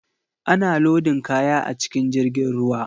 Ana lodin kaya a cikin jirgin ruwa.